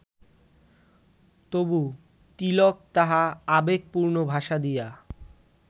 তবু তিলক তাহা আবেগপূর্ণ ভাষা দিয়া